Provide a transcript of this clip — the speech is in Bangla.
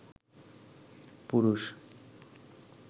পুরুষ